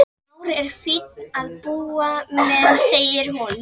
Már er fínn að búa með, segir hún.